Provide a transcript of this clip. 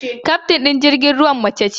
Kyaftin ɗin jirgin ruwan mace ce.